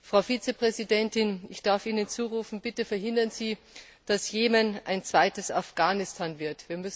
Frau Vizepräsidentin, ich darf Ihnen zurufen Bitte verhindern Sie, dass Jemen ein zweites Afghanistan wird!